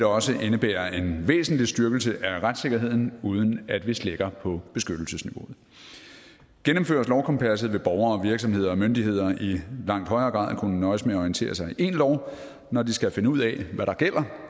også indebære en væsentlig styrkelse af retssikkerheden uden at vi slækker på beskyttelsesniveauet gennemføres lovkompasset vil borgere og virksomheder og myndigheder i langt højere grad kunne nøjes med at orientere sig i én lov når de skal finde ud af hvad der gælder